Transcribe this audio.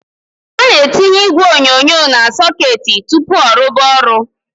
A NA- ETỊNYE ỊGWE ỌNYỌNYỌ NA - SỌKETỊ TỤPỤ ỌRUBA ORỤ.